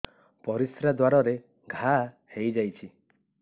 ପରିଶ୍ରା ଦ୍ୱାର ରେ ଘା ହେଇଯାଇଛି